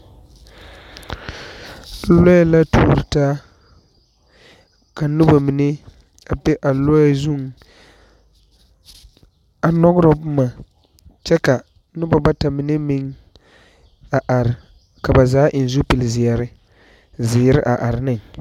Lɔɛ la tuuro taa, ka noba mine a be lɔɛ zʋŋ a nyɔgero boma kyɛ ka noba bata mine meŋ a are ka ba zaa eŋ zupili zeɛre a are ne.